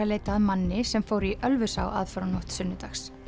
leitað að manni sem fór í Ölfusá aðfaranótt sunnudags